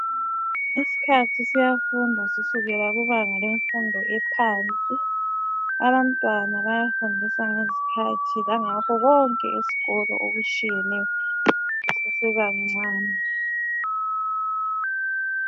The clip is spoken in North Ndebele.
Isikhathi siyafundwa kusukela kubanga lemfundo ephansi .Abantwana bayafundiswa ngezikhathi langakho konke esikolo okutshiyeneyo besesebancane.